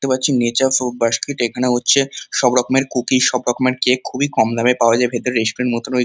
দেখতে পাচ্ছি নেচার এখানে হচ্ছে সব রকমের কুকি সব রকমের কেক খুবই কম দামে পাওয়া যায় ভেতরে রেস্টুরেন্ট মত রয়েছে ।